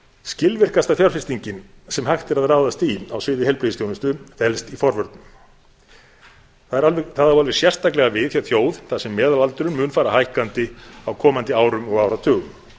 skilvirkasta fjárfestingin sem hægt er að ráðast í á sviði heilbrigðisþjónustu felst í forvörnum það á alveg sérstaklega við hjá þjóð þar sem meðalaldurinn mun fara hækkandi á komandi árum og áratugum